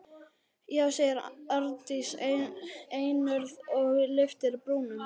Já, segir Arndís einörð og lyftir brúnum.